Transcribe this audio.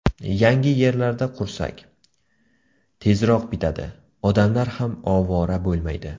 Yangi yerlarda qursak, tezroq bitadi, odamlar ham ovora bo‘lmaydi.